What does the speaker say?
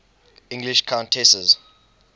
english countesses